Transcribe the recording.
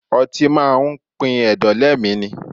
Ọtí máa pin ẹ̀dọ̀ lé mi ni.